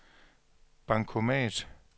bankomat